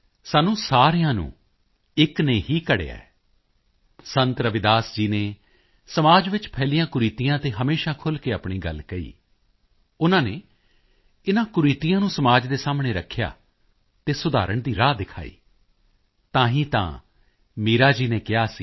ਅਸੀਂ ਸਭ ਇੱਕ ਹੀ ਮਿੱਟੀ ਦੇ ਬਰਤਨ ਹਾਂ ਸਾਨੂੰ ਸਾਰਿਆਂ ਨੂੰ ਇੱਕ ਨੇ ਹੀ ਘੜਿਆ ਹੈ ਸੰਤ ਰਵਿਦਾਸ ਜੀ ਨੇ ਸਮਾਜ ਵਿੱਚ ਫੈਲੀਆਂ ਕੁਰੀਤੀਆਂ ਤੇ ਹਮੇਸ਼ਾ ਖੁੱਲ੍ਹ ਕੇ ਆਪਣੀ ਗੱਲ ਕਹੀ ਉਨ੍ਹਾਂ ਨੇ ਇਨ੍ਹਾਂ ਕੁਰੀਤੀਆਂ ਨੂੰ ਸਮਾਜ ਦੇ ਸਾਹਮਣੇ ਰੱਖਿਆ ਅਤੇ ਸੁਧਰਨ ਦੀ ਰਾਹ ਦਿਖਾਈ ਅਤੇ ਤਾਂ ਹੀ ਤਾਂ ਮੀਰਾਂ ਜੀ ਨੇ ਕਿਹਾ ਸੀ